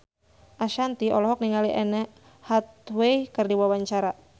Ashanti olohok ningali Anne Hathaway keur diwawancara